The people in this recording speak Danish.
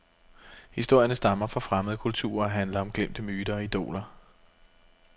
Historierne stammer fra fremmede kulturer og handler om glemte myter og idoler.